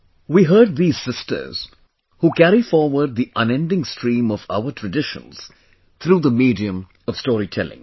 We heard these sisters who carry forward the unending stream of our traditions through the medium of storytelling